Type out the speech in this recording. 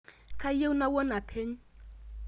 Kayieu nawuon apeny